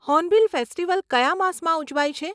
Hornbill festival કયા માસમાં ઉજવાય છે?